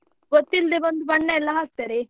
ಗೊತ್ತಿಲ್ಲದೆ ಬಂದು ಬಣ್ಣ ಎಲ್ಲ ಹಾಕ್ತಾರೆ.